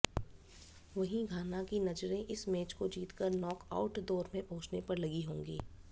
वहीं घाना की नजरें इस मैच को जीतकर नॉकआउट दौर में पहुंचने पर लगी होंगी